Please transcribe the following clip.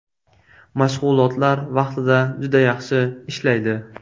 Mashg‘ulotlar vaqtida juda yaxshi ishlaydi.